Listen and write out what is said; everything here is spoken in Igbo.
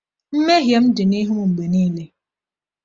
“Mmehie m dị n’ihu m mgbe niile…”